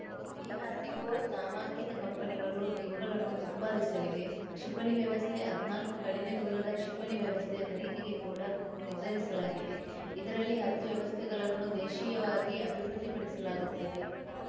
DRDO ನಾಮಾಂಕಿತ ಕಂಪನಿಗಳು ಇವುಗಳನ್ನು ಉತ್ಪಾದಿಸಲಿವೆ ಕ್ಷಿಪಣಿ ವ್ಯವಸ್ಥೆ ಹದ್ನಾಲ್ಕು ಕಡಿಮೆ ದೂರದ ಕ್ಷಿಪಣಿ ವ್ಯವಸ್ಥೆ ಖರೀದಿಗೆ ಕೂಡ ನಿರ್ಧರಿಸಲಾಗಿದೆ ಇದರಲ್ಲಿ ಹತ್ತು ವ್ಯವಸ್ಥೆಗಳನ್ನು ದೇಶೀಯವಾಗಿ ಅಭಿವೃದ್ಧಿಪಡಿಸಲಾಗುತ್ತದೆ